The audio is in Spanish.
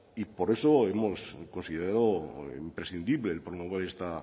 y por eso hemos considerado imprescindible el promover esta